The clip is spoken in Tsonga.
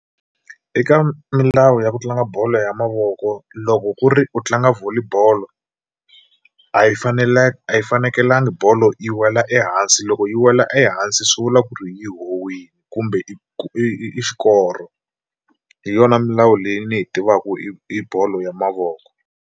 Eka milawu ya ku tlanga bolo ya mavoko loko ku ri u tlanga Volley bolo a yi a yi fanekelanga bolo yi wela ehansi loko yi wela ehansi swi vula ku ri yi howile kumbe i i xikoro, hi yona milawu leyi ni yi tivaku i bolo ya mavoko.